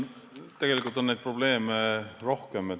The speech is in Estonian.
Tegelikult on neid probleeme rohkem.